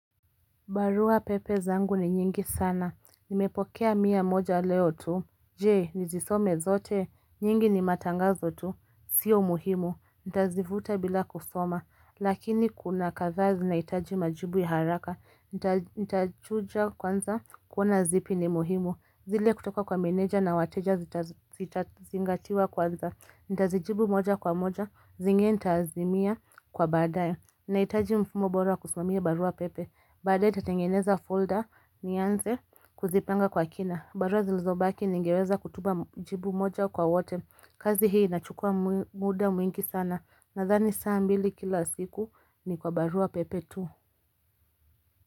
Barua pepe zangu ni nyingi sana, nimepokea mia moja leo tu Jee, nizisome zote, nyingi ni matangazo tu, sio muhimu, ntazivuta bila kusoma Lakini kuna kadhaa zinaitaji majibu ya haraka, ntachuja kwanza kuona zipi ni muhimu zile kutoka kwa meneja na wateja zitazingatiwa kwanza, ntazijibu moja kwa moja, zingine ntaazimia kwa baadaye Naitaji mfumo bora kusumamia barua pepe Bada nitatengeneza folder nianze kuzipanga kwa kina barua zilizo baki ningeweza kutuma jibu moja kwa wote kazi hii inachukua muda mwingi sana Nadhani saa mbili kila siku ni kwa barua pepe tu.